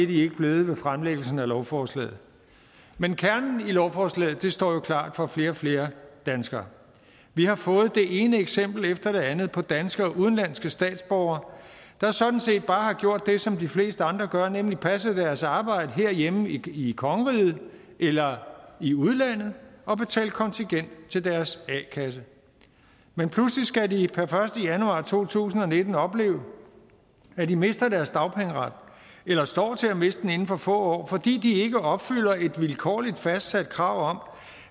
de ikke blevet ved fremsættelsen af lovforslaget men kernen i lovforslaget står jo klart for flere og flere danskere vi har fået det ene eksempel efter det andet på danske og udenlandske statsborgere der sådan set bare har gjort det som de fleste andre gør nemlig passet deres arbejde herhjemme i kongeriget eller i udlandet og betalt kontingent til deres a kasse men pludselig skal de per første januar to tusind og nitten opleve at de mister deres dagpengeret eller står til at miste den inden for få år fordi de ikke opfylder et vilkårligt fastsat krav